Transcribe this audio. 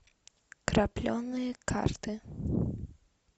крапленые карты